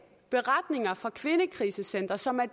beretninger fra kvindekrisecentre som er